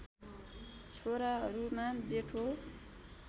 छोराहरूमा जेठो